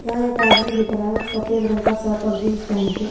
यहां एक आदमी दिख रहा है सफेद रंग का शर्ट और जीन्स पहन के--